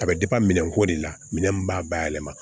A bɛ minɛnko de la minɛn min b'a bayɛlɛma